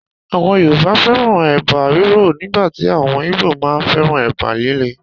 Àwọn Yorùbá fẹ́ràn Ẹ̀bà rírọ̀ nígbàtí àwọn Ìgbò máa ń féràn Ẹ̀bà líle.